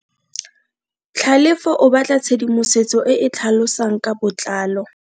Tlhalefo o batla tshedimosetso e e tlhalosang ka botlalo.